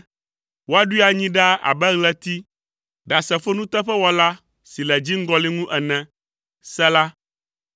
Woaɖoe anyi ɖaa abe ɣleti, ɖasefo nuteƒewɔla si le dziŋgɔli ŋu ene.” Sela